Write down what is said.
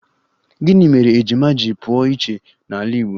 Gịnị mere ejima ji pụrụ iche n'ala Igbo?